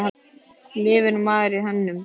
Lifir maður á hönnun?